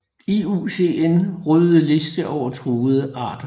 IUCN røde liste over truede arter